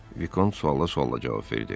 Vikont suala sualla cavab verdi: